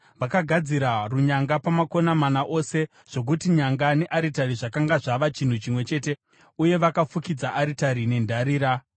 Vakagadzira runyanga pamakona mana ose zvokuti nyanga nearitari zvakanga zvava chinhu chimwe chete, uye vakafukidza aritari nendarira.